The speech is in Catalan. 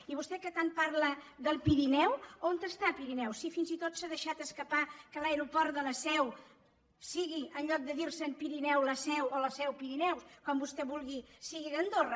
i vostè que tant parla del pirineu on està el pirineu si fins i tot s’ha deixat escapar que l’aeroport de la seu sigui en lloc de dir se pirineu la seu o la seu pirineu com vostè vulgui d’andorra